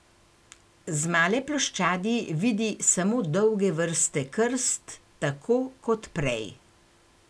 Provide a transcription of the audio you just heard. Z male ploščadi vidi samo dolge vrste krst tako kot prej.